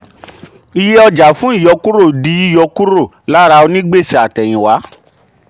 iye ọjàfún ìyọkúrò di yíyọ kúrò lára onígbèsè àtẹ̀yìnwá.